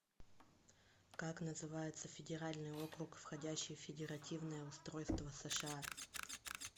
как называется федеральный округ входящий в федеративное устройство сша